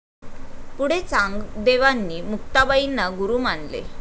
पुढे चांगदेवांनी मुक्ताबाई ना गुरु मानले